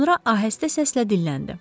Sonra ahəstə səslə dilləndi: